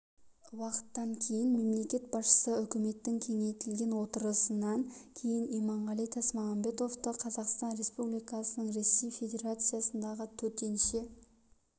уақыттан кейін мемлекет басшысы үкіметтің кеңейтілген отырысынан кейін иманғали тасмағамбетовты қазақстан республикасының ресей федерациясындағы төтенше